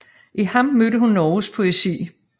I ham mødte hun Norges poesi